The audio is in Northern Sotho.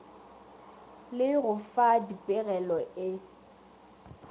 le go fa dipegelo e